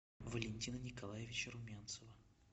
валентина николаевича румянцева